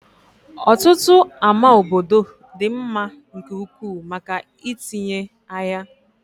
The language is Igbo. Ọtụtụ ámá obodo dị mma nke ukwuu maka itinye ahịa.